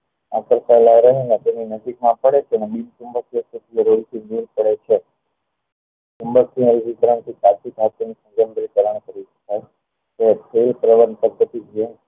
આગળ તેના નજીક માં ફરે છે ને તેના બિન ચુંબકીય પદ્ધતિ ને દુર કરે છે ચુંબકીય વિધીકરણ થી પ્રલણ પદ્ધતિ થી